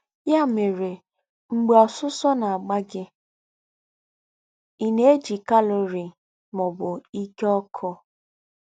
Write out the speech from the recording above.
Ya mere, mgbe ọsụsọ na-agba gị, ị na-eji calorie, ma ọ bụ ike ọkụ.